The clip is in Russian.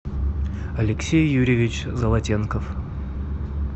алексей юрьевич золотенков